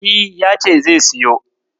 E, ya ce zai siyo.